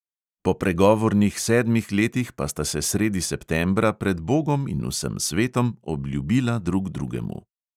Po pregovornih sedmih letih pa sta se sredi septembra pred bogom in vsem svetom obljubila drug drugemu.